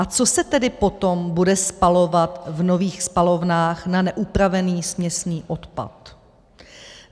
A co se tedy potom bude spalovat v nových spalovnách na neupravený směsný odpad?